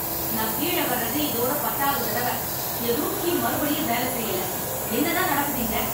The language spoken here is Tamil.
நான் கீழ வர்றது இதோட பத்தாவது தடவ. என் ரூம் கீ மறுபடியும் வேல செய்யல. என்னதான் நடக்குது இங்க?